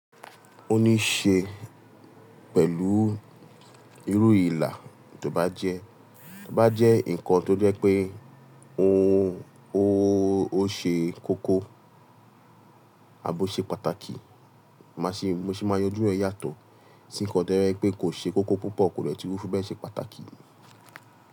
Ó ní ṣe pẹ̀lú irú ìlà tó bá jẹ́ tó bá jẹ́ nǹkan tó jẹ́ pé ò ó, ó ṣe koko àbo ṣe pàtàkì. Màá ṣè, bi mo se máa yanjú ẹ̀ yàtọ̀. Tí nǹkan to jeẹ́ pé kò ṣe koko púpọ̀ kò dẹtu fi bẹ́ẹ̀ ṣe pàtàkì.